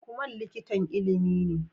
Lukman likitan Ilimi ne